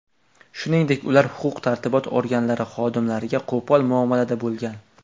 Shuningdek ular huquq-tartibot organlari xodimlariga qo‘pol muomalada bo‘lgan.